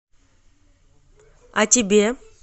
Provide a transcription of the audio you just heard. а тебе